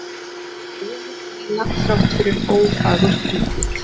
Örugg lína þrátt fyrir ófagurt útlit